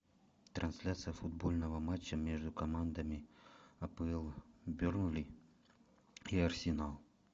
трансляция футбольного матча между командами апл бернли и арсенал